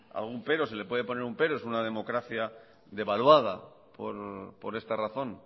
algún pero se le puede poner un pero es una democracia devaluada por esta razón